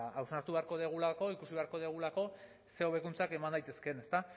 hausnartu beharko dugulako ikusi beharko dugulako zein hobekuntzak eman daitezkeen